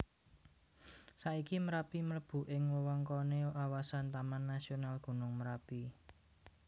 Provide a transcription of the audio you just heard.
Saiki Merapi mlebu ing wewengkoné kawasan Taman Nasional Gunung Merapi